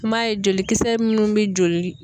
Kuma ye jolikisɛ munnu be joli